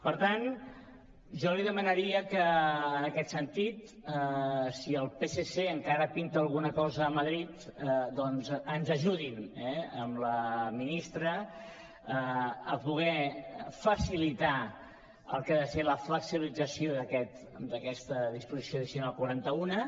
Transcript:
per tant jo li demanaria que en aquest sentit si el psc encara pinta alguna cosa a madrid doncs ens ajudin amb la ministra a poder facilitar el que ha de ser la flexibilització d’aquesta disposició addicional quaranta unena